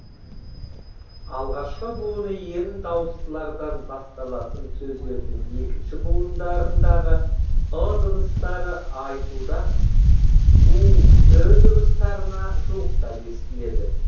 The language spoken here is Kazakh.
алғашқы буыны ерін дауыстылардан басталатын сөздердің екінші буындарындағы ы дыбыстары айтуда у ү дыбыстарына жуықтап естіледі